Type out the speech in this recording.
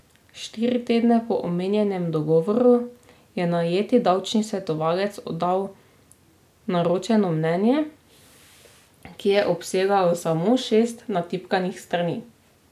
Štiri tedne po omenjenem dogovoru je najeti davčni svetovalec oddal naročeno mnenje, ki je obsegalo samo šest natipkanih strani.